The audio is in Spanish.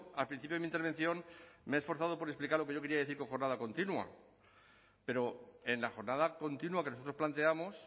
al principio de mi intervención me he esforzado por explicar lo que yo quería decir con jornada continua pero en la jornada continua que nosotros planteamos